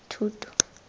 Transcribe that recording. thuto